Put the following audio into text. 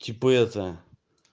типа это